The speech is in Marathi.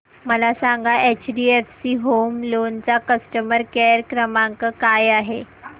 मला सांगा एचडीएफसी होम लोन चा कस्टमर केअर क्रमांक काय आहे